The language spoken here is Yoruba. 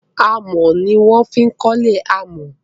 amò ní wan fí ko'le amò